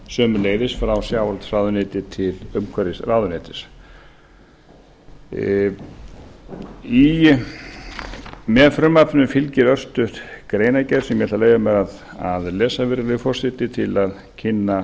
sömuleiðis frá sjávarútvegsráðuneyti til umhverfisráðuneytis með frumvarpinu fylgir örstutt greinargerð sem ég ætla að leyfa mér að lesa virðulegi forseti til að kynna